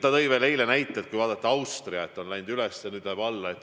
Ta tõi eile näite, et kui vaadata Austriat, kus näitajad läksid enne üles, siis nüüd lähevad need alla.